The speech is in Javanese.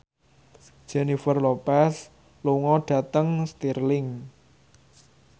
Jennifer Lopez lunga dhateng Stirling